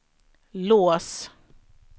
lås